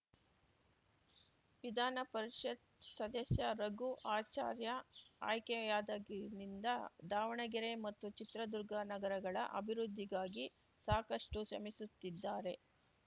ವಿಧಾನ ಪರಿಷತ್‌ ಸದಸ್ಯ ರಘು ಆಚಾರ್ಯ ಆಯ್ಕೆಯಾದಾಗಿನಿಂದ ದಾವಣಗೆರೆ ಮತ್ತು ಚಿತ್ರದುರ್ಗ ನಗರಗಳ ಅಭಿವೃದ್ಧಿಗಾಗಿ ಸಾಕಷ್ಟುಶ್ರಮಿಸುತ್ತಿದ್ದಾರೆ